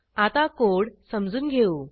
आता कोड समजून घेऊ